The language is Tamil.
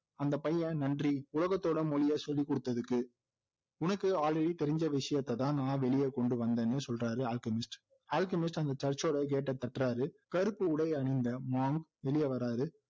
அந்த பையன் நன்றி உலகத்தோட மொழியை சொல்லி கொடுத்ததுக்கு உனக்கு already தெரிஞ்ச விசயத்தைதான் நான் வெளிய கொண்டு வந்தேன்னு சொல்றாரு அல்கெமிஸ்ட், அல்கெமிஸ்ட் அந்த church ஓட gate ஐ தட்டுறாரு கருப்பு உடை அணிந்த monk வெளிய வர்றாரு